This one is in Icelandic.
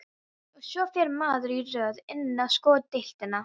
Og svo fer maður í röð inn á sko deildina.